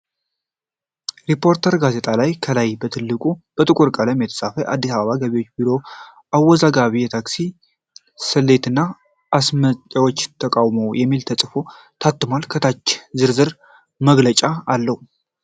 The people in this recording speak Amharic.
ሪፖርተር ጋዜጣ ላይ ከላይ በትልቁ በጥቁር ቀለም የተፃፈ "የአዲስ አበባ ገቢዎች ቢሮ አወዛጋቢ የታክስ ስሌትና የአስመጭዎች ተቃዉሞ " የሚል ተፅፎ ታትሟል። ከታች ዝርዝር መግለጫ አለዉ።